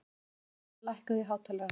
Seselía, lækkaðu í hátalaranum.